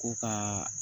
Ko ka